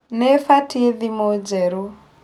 Nĩbatie thimu njerũ